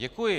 Děkuji.